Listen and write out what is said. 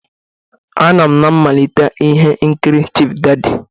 Anọ m na mmalite ihe nkiri Chief Daddy.